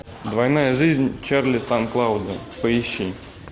двойная жизнь чарли сан клауда поищи